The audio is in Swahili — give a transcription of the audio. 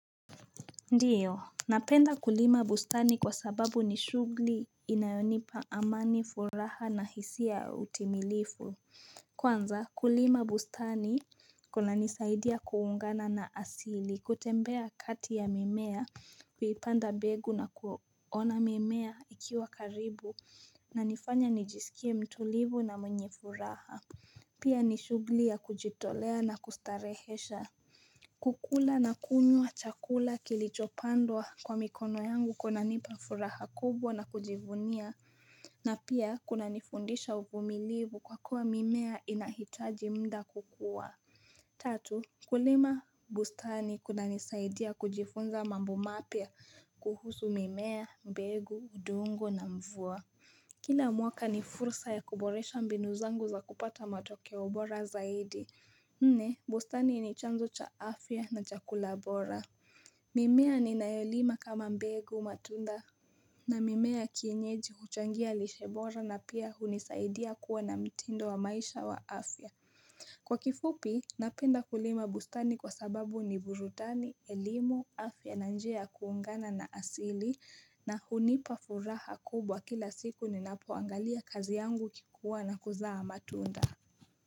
Ndiyo, napenda kulima bustani kwa sababu ni shugli inayonipa amani furaha na hisia ya utimilifu Kwanza kulima bustani kuna nisaidia kuungana na asili, kutembea kati ya mimea, kuipanda mbegu na kuona mimea ikiwa karibu na nifanya nijisikie mtulivu na mwenye furaha Pia ni shugli ya kujitolea na kustarehesha kukula na kunywa chakula kilichopandwa kwa mikono yangu kuna nipafuraha kubwa na kujivunia na pia kuna nifundisha uvumilivu kwa kuwa mimea inahitaji mda kukua Tatu, kulima bustani kuna nisaidia kujifunza mambo mapia kuhusu mimea, mbegu, udongo na mvua Kila mwaka ni fursa ya kuboresha mbinuzangu za kupata matokeo bora zaidi Nne, bustani ni chanzo cha afya na cha kulabora mimea ni nayolima kama mbegu matunda na mimea kienyeji huchangia lishebora na pia hunisaidia kuwa na mtindo wa maisha wa afya Kwa kifupi, napenda kulima bustani kwa sababu ni burudani, elimu, afya na njia ya kuungana na asili na hunipafuraha kubwa kila siku ni napoangalia kazi yangu kikuwa na kuzaa matunda.